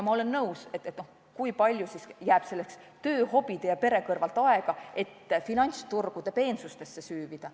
Ma olen nõus küsimusega, kui palju ikkagi jääb töö, hobide ja pere kõrvalt aega finantsturgude peensustesse süüvida.